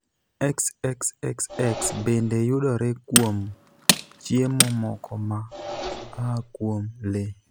xxxx bende yudore kuom chiemo moko ma aa kuom lee.